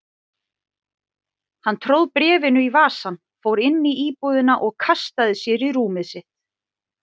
Hann tróð bréfinu í vasann, fór inn í íbúðina og kastaði sér í rúmið sitt.